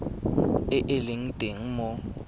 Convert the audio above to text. e e leng teng mo